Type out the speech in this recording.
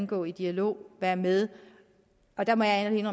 gå i dialog og være med og der må jeg ærligt